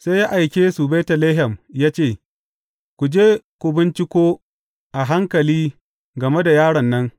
Sai ya aike su Betlehem ya ce, Ku je ku binciko a hankali game da yaron nan.